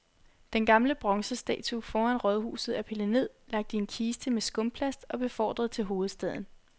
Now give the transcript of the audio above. Den gamle bronzestatue foran rådhuset er pillet ned, lagt i en kiste med skumplast og befordret til hovedstaden.